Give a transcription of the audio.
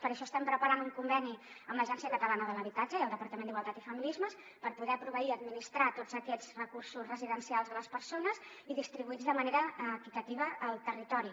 per això estem preparant un conveni amb l’agència catalana de l’habitatge i el departament d’igualtat i feminismes per poder proveir i administrar tots aquests recursos residencials a les persones i distribuir los de manera equitativa al territori